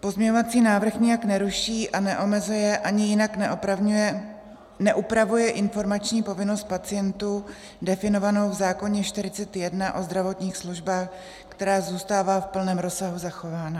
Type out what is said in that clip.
Pozměňovací návrh nijak neruší a neomezuje ani jinak neupravuje informační povinnost pacientů definovanou v zákoně 41, o zdravotních službách, která zůstává v plném rozsahu zachována.